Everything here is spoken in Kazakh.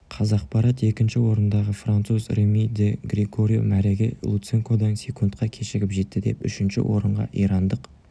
қазақпарат екінші орындағы француз реми ди грегорио мәреге луценкодан секундқа кешігіп жетті үшінші орынға ирандық